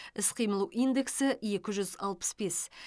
іс қимыл индексі екі жүз алпыс бес